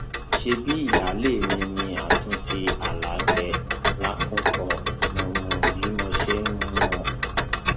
ṣebí ìyáálé mi ní àtúntì alákẹ lákúnkọ mọ mọ bí mo ṣe ń mú un